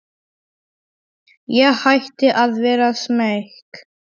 Ég hætti að vera smeyk.